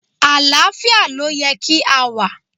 Àlàáfíà ló yẹ kí á wà.